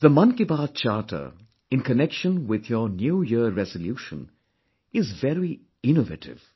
The Mann Ki Baat Charter in connection with your New Year resolution is very innovative